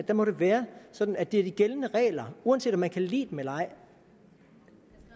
må det være sådan at det er de gældende regler uanset om man kan lide dem eller ej